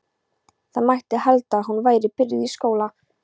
Það mætti halda að hún væri byrjuð í skóla.